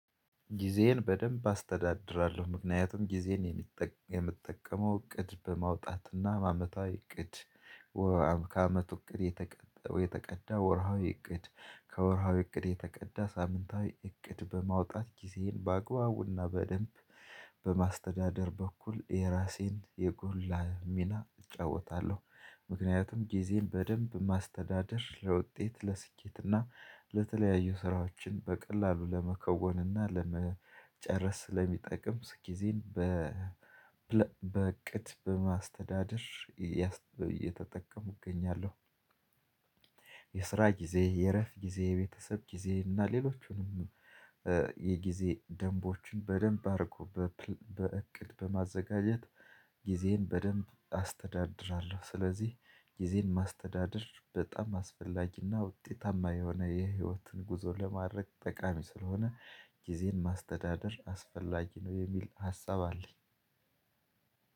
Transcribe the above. ጊዜዬን በደንብ አስተዳድራለሁ ምክንያቱም ጊዜን የምትጠቀመው እቅድ በማውጣትና አመታዊ እቅድ ከአመቱ እቅድ የተቀዳ ወርሃዊ እቅድ ከወርሃዊ እቅድ የተቀዳ ሳምንታዊ እቅድ በማውጣት ጊዜዬን በአግባቡና በደንብ በማስተዳደር በኩል የራሴን የጎላ ሚና እጫወታለሁ። ምክንያቱም ጊዜን በደንብ ማስተዳደር ለውጤት ለስኬትና ለተለያዩ ስራዎችን በቀላሉ ለመከወንና ለመጨረስ ስለሚጠቅም ስኪ ጊዜን በቅድ በማስተዳደር እየተጠቀሙ እገኛለሁ። የስራ ጊዜ የእረፍት ጊዜ የቤተሰብ ጊዜ እና ሌሎቹንም የጊዜ ደንቦችን በደንብ አርጎ በእቅድ በማዘጋጀት ጊዜዬን በደንብ አስተዳድራለሁ። ስለዚህ ጊዜን ማስተዳደር በጣም አስፈላጊና ውጤታማ የሆነ የህይወትን ጉዞ ለማድረግ ጠቃሚ ስለሆነ ጊዜን ማስተዳደር አስፈላጊ ነው የሚል ሀሳብ አለኝ።